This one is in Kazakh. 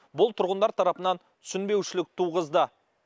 бұл тұрғындар тарапынан түсінбеушілік туғызды